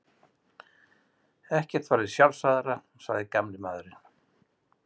Ekkert væri sjálfsagðara, sagði gamli maðurinn.